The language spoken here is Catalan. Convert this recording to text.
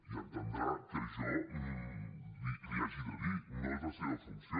i entendrà que jo l’hi hagi de dir no és la seva funció